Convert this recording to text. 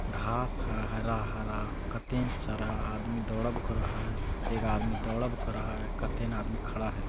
घास है हरा-हरा कते ने सारा आदमी दौड़ब करे हई एक आदमी दौरब करे हई कते ने आदमी खड़ा हई।